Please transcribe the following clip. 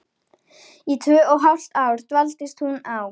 Í tvö og hálft ár dvaldist hún á